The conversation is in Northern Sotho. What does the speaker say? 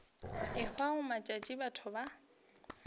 e hwago matšatši batho ba